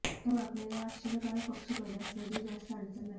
त्यामुळे आपल्याला या आश्चर्यकारक पक्षी पैदास मध्ये जास्त अडचण नाही